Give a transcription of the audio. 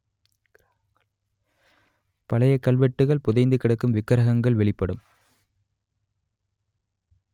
பழைய கல்வெட்டுகள் புதைந்துக் கிடக்கும் விக்ரஹங்கள் வெளிபடும்